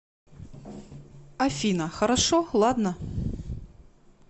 афина хорошо ладно